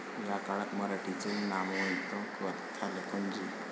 याच काळात मराठीचे नामवंत कथालेखक जी.